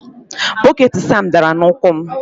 Bọket Sam dara n'ụkwụ m